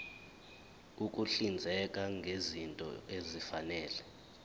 ukuhlinzeka ngezinto ezifanele